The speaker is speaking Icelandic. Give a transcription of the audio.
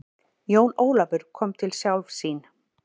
Jón Ólafur kom til sjálfs sín.